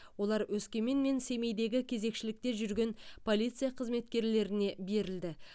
олар өскемен мен семейдегі кезекшілікте жүрген полиция қызметкерлеріне берілді